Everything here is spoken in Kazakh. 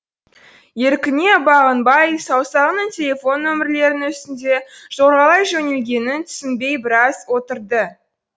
еркіне бағынбай саусағының телефон нөмірлерінің үстінде жорғалай жөнелгенін түсінбей біраз отырды